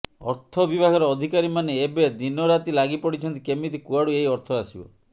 ଅର୍ଥ ବିଭାଗର ଅଧିକାରୀ ମାନେ ଏବେ ଦିନରାତି ଲାଗି ପଡିଛନ୍ତି କେମିତି କୁଆଡୁ ଏହି ଅର୍ଥ ଆସିବ